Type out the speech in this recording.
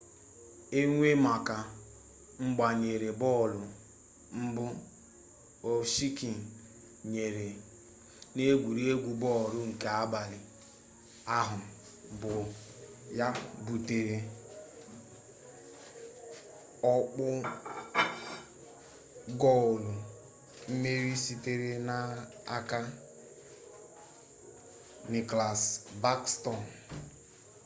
enyemaka mgbanyere bọọlụ mbụ ovechkin nyere n'egwuregwu bọọlụ nke abalị ahụ bụ ya butere ọkpụ goolu mmeri sitere n'aka nicklas backstrom